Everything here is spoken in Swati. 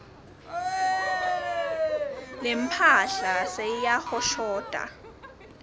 lemphahla seyiyahoshota